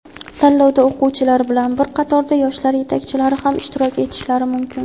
Tanlovda o‘quvchilar bilan bir qatorda yoshlar yetakchilari ham ishtirok etishlari mumkin.